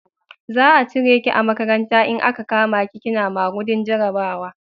Za a cire ki a makaranta in a ka kama ki kina yin magudin jarabawa